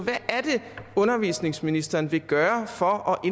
undervisningsministeren vil gøre for at